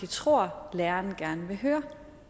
tror læreren gerne vil høre